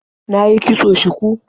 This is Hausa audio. Na yi kitson shuku.